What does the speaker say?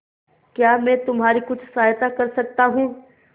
क्या मैं तुम्हारी कुछ सहायता कर सकता हूं